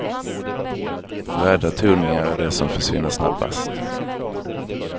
Röda toningar är de som försvinner snabbast.